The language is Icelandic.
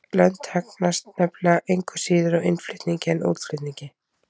Lönd hagnast nefnilega engu síður á innflutningi en útflutningi.